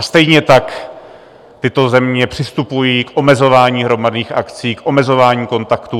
A stejně tak tyto země přistupují k omezování hromadných akcí, k omezování kontaktů.